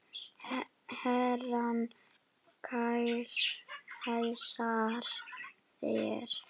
Herrann kær heilsar þér.